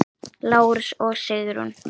Lárus og Sigrún.